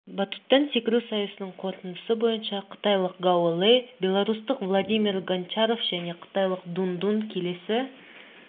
батуттан секіру сайысының қорытындысы бойынша қытайлық гао лэй беларустық владимир гончаров және қытайлық дун дун келесі